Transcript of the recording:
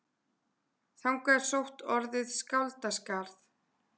Þangað er sótt orðið skáldaskarð.